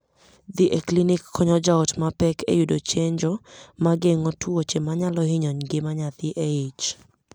Dhi e klinik konyo jaot ma pek e yudo chenjo mageng'o tuoche manyalo hinyo ngima nyathi eich.